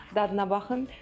Dadına baxın.